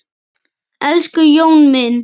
Elsku Jón minn.